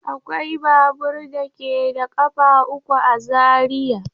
Akwai babur da ke da ƙafa uku a Zariya.